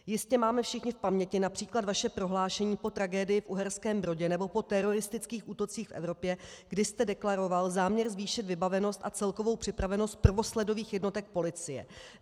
Jistě máme všichni v paměti například vaše prohlášení po tragédii v Uherském Brodě nebo po teroristických útocích v Evropě, kdy jste deklaroval záměr zvýšit vybavenost a celkovou připravenost prvosledových jednotek policie.